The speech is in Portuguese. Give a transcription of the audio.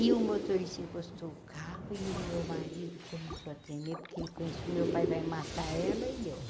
E o motorista encostou o carro, e o meu marido começou a tremer, porque ele conhecia, o meu pai vai matar ela e eu.